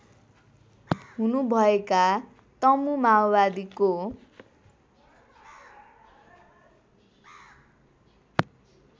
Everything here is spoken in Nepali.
हुनुभएका तमु माओवादीको